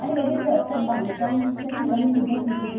त्या ठिकाणी सुद्धा CCTV काम camera गरजेचे आहे